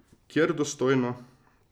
Kjer dostojno.